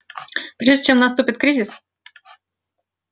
прежде чем наступит кризис